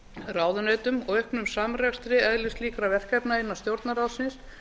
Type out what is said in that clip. ráðuneytum og auknum samrekstri eðlislíkra verkefna innan stjórnarráðsins